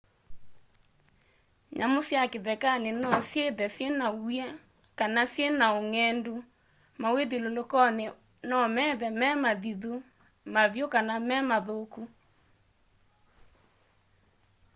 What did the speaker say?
nyamũ sya kĩthekanĩ nosyĩthe syĩna w'ĩa kana syĩna ũngendu mawĩ'thyũlũlũko nomethe me mathĩthũ mavyũ kana memathũkũ